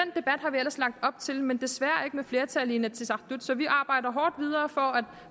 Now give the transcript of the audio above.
vi ellers lagt op til men desværre ikke med flertal i inatsisartut så vi arbejder hårdt videre for at